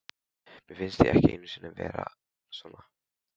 Mér finnst ég ekki einn um að vera svona